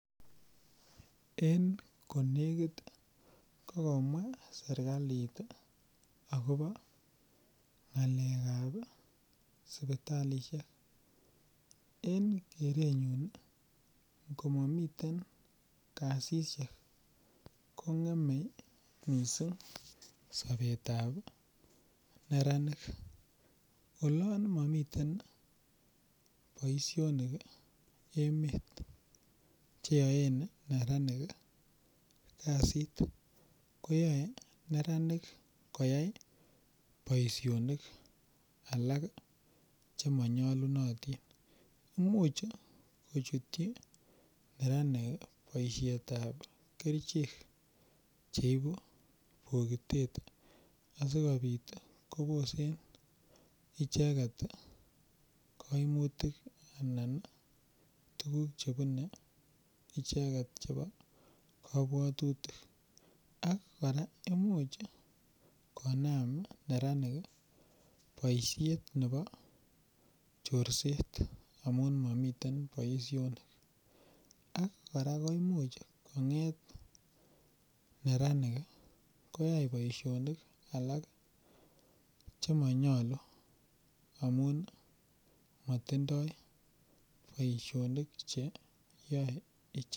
En konekit kokomwa serikalit akobo ng'alekab sipitalishek en kerenyun komamiten kasishek kong'emei mising' sobetab neranik olon mamiten boishonik emet cheoen neranik kasit koyoei neranik koyait boishonik alak chemanyolunotin muuch kochutchin neranik boishetab kerichek cheibu bokitet asikobit kobosen icheget kaimutik anan tukuk chebunu icheget chebo kabwatutik kora imuuch konaam neranik boishet nebo choriset amun mamiten boishonik ak kora koimuuch neranik koyait boishonik alak chemanyolu amun matindoi boishonik cheyoei ichek